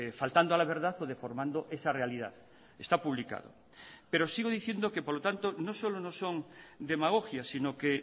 faltando a la verdad o deformando esa realidad está publicado pero sigo diciendo que por lo tanto no solo no son demagogia sino que